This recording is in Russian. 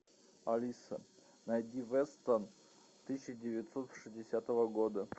алиса найди вестерн тысяча девятьсот шестидесятого года